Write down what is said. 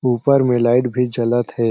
ऊपर में लाइट भी जलत हें।